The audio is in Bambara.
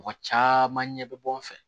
Mɔgɔ caman ɲɛ bɛ bɔ n fɛ